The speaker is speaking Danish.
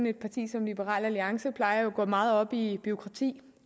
et parti som liberal alliance jo plejer at gå meget op i bureaukrati